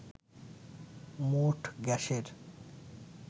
মোট গ্যাসের